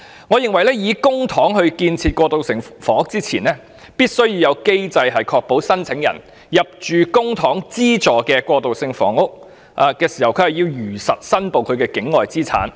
我認為，在動用公帑興建過渡性房屋前，政府必須制訂機制，確保申請人在入住公帑資助的過渡性房屋時如實申報境外物業。